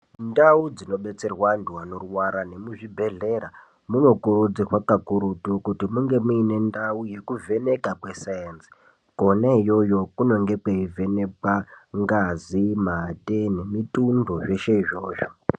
Ndau dzinobetserwe anthu anorwara nemuzvibhedhlera munokurudzirwa kakurutu kuti munge muine ndau yekuvheneka kwe sainzi kona iyoyo kunenge kweivhenekwe ngazi, mate nemitundo zveshe izvozvo.